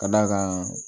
Ka d'a kan